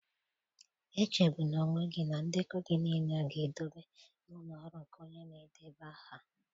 Echegbula onwe gị na ndekọ gị niile ga-edobe n'ụlọ ọrụ nke onye na-edeba aha.